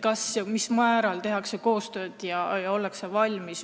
Kas ja mil määral tehakse koostööd ja ollakse valmis